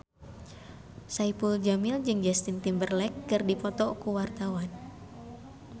Saipul Jamil jeung Justin Timberlake keur dipoto ku wartawan